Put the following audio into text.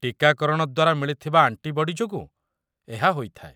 ଟୀକାକରଣ ଦ୍ୱାରା ମିଳିଥିବା ଆଣ୍ଟିବଡି ଯୋଗୁଁ ଏହା ହୋଇଥାଏ।